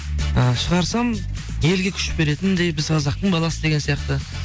і шығарсам елге күш беретіндей біз қазақтың баласы деген сияқты